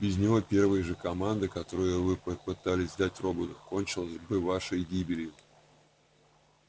без него первая же команда которую бы вы попытались дать роботу кончилась бы вашей гибелью